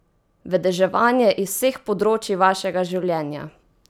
Vedeževanje iz vseh področij vašega življenja!